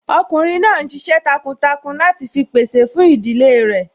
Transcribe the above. Ọkùnrin náà n ṣiṣẹ́ takuntakun láti fi pèsè fún ìdílé rẹ̀